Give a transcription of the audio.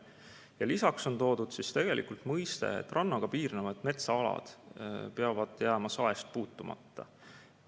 Ja lisaks on toodud mõiste, et rannaga piirnevad metsaalad peavad jääma saest puutumata.